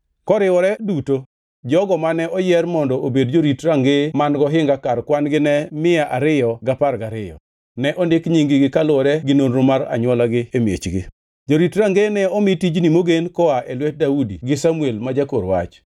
Koriwore duto, jogo mane oyier mondo obed jorit rangeye man gohinga kar kwan-gi ne mia ariyo gi apar gariyo (212). Ne ondik nying-gi kaluwore gi nonro mar anywolagi e miechgi. Jorit rangeye ne omii tijni mogen koa e lwet Daudi gi Samuel ma jakor wach.